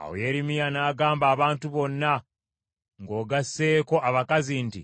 Awo Yeremiya n’agamba abantu bonna, ng’ogasseeko abakazi nti,